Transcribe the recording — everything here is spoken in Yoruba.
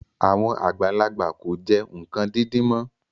Àwọn àgbàlagbà kò jẹ nǹkan díndín mọ́